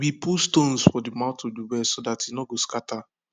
we put stones for the mouth of de well so dat e nor go scatter